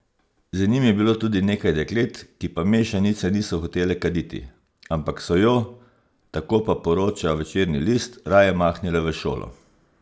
Z njim je bilo tudi nekaj deklet, ki pa mešanice niso hotele kaditi, ampak so jo, tako pa poroča Večernji list, raje mahnile v šolo.